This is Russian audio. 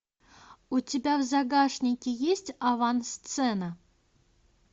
у тебя в загашнике есть авансцена